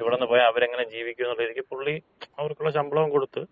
ഇവ്ടുന്ന് പോയാ അവരെങ്ങനെ ജീവിക്കും" എന്നൊള്ള രീതിക്ക് പുള്ളി അവർക്കൊള്ള ശമ്പളവും കൊടുത്ത്,